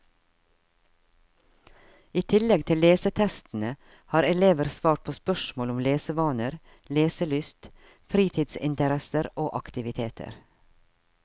I tillegg til lesetestene har elever svart på spørsmål om lesevaner, leselyst, fritidsinteresser og aktiviteter.